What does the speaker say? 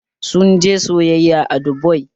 Sun je sayayya a Dubai